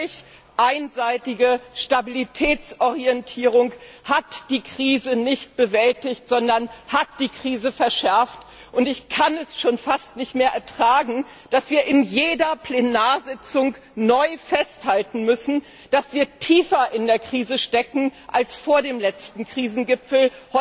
Die völlig einseitige Stabilitätsorientierung hat die Krise nicht bewältigt, sondern verschärft, und ich kann es schon fast nicht mehr ertragen, dass wir in jeder Plenarsitzung neu feststellen müssen, dass wir tiefer in der Krise stecken als vor dem letzten Krisengipfel.